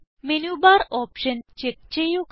menu bar option check ചെയ്യുക